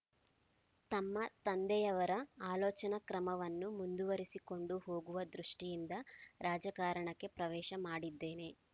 ತಮ್ಮ ತಂದೆಯವರ ಆಲೋಚನಾ ಕ್ರಮವನ್ನು ಮುಂದುವರಿಸಿಕೊಂಡು ಹೋಗುವ ದೃಷ್ಟಿಯಿಂದ ರಾಜಕಾರಣಕ್ಕೆ ಪ್ರವೇಶ ಮಾಡಿದ್ದೇನೆ